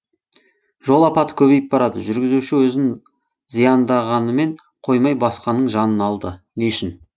жол апаты көбейіп барады жүргізуші өзін зяндағанымен қоймай басқаның жанын алды не үшін